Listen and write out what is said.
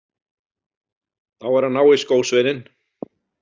Þá er að ná í skósveininn.